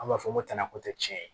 An b'a fɔ ko tana ko tɛ tiɲɛ ye